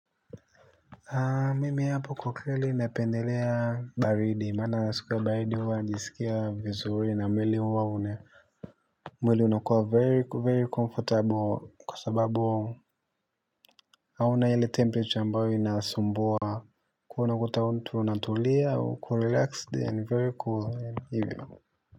Mimi hapa kwakweli napendelea baridi, maana siku ya baridi huwa najisikia vizuri na mwili huwa mwili unakuwa very comfortable kwa sababu hauna ile temperature ambayo inasumbua. Ko unakuta mtu unatulia ukorelaxed and very cool hivyo.